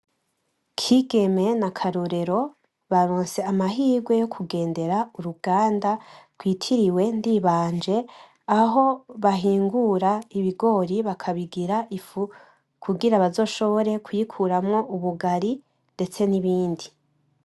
Kigeme na Karorero baronse amahirwe yo kugendera uruganda rwitiriwe Ndibanje aho bahingura ibigori bajabigira ifu kugirango bazoshobore kuyikoramwo ubugari ndetse n’ibindi .